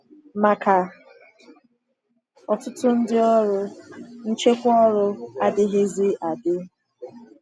Maka ọtụtụ ndị ọrụ, nchekwa ọrụ adịghịzi adị.